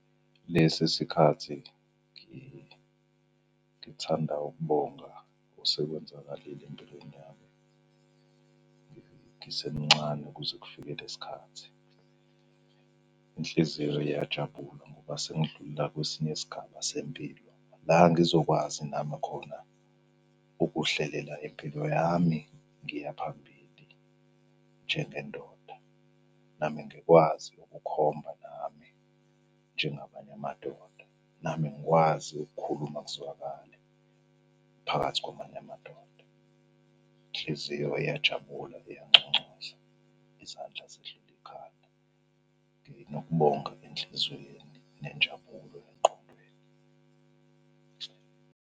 Lesi sikhathi ngithanda ukubonga osekwenzakalile empilweni yami ngisemncane kuze kufike lesi khathi. Inhliziyo iyajabula ngoba sengidlulela kwesinye isigaba sempilo la ngizokwazi nami khona ukuhlelela impilo yami ngiye phambili njengendoda. Nami ngikwazi ukukhomba nami njengamanye amadoda. Nami ngikwazi ukukhuluma kuzwakale phakathi kwamanye amadoda. Inhliziyo iyajabula iyanconcoza, izandla zidlula ikhanda. Nginokubonga enhlizweni nenjabulo emqondweni.